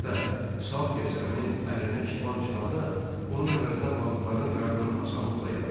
Hətta Salter səminin əlinə çiban çıxanda onun əvəzinə balıqların qarnını asanlıqla yarırdı.